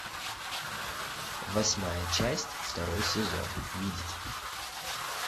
восьмая часть второй сезон видеть